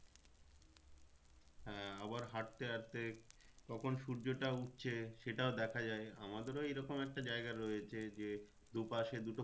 হ্যাঁ আবার হাঁটতে হাঁটতে কখন সূর্যটা উঠছে সেটাও দেখা যায় আমাদেরও এরকম একটা জায়গা রয়েছে যে দু পাশে দুটো